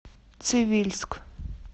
цивильск